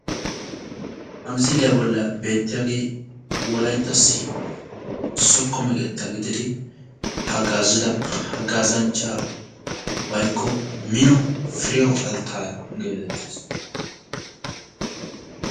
Ha missiliyaa bolli beettiyage wolayttassi zokko meqqetta gididi hagazidda hagazanchcha waykko mino Priyawu Altaya geettetes.